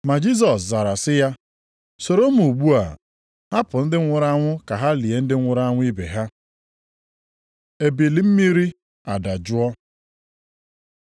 Ma Jisọs zara sị ya, “Soro m ugbu a. Hapụ ndị nwụrụ anwụ ka ha lie ndị nwụrụ anwụ ibe ha.” Ebili mmiri adajụọ